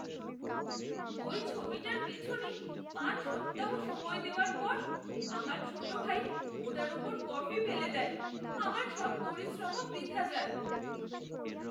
ওই ছবিটার পিছনে পাঁচ সপ্তাহ সময় দেওয়ার পর আমার ছোট ভাই ওটার ওপর কফি ফেলে দেয়। আমার সব পরিশ্রমও বৃথা যায়।